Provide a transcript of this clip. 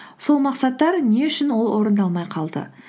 сол мақсаттар не үшін ол орындалмай қалды